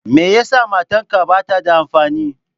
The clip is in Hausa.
Me yasa matarka bata da amfani?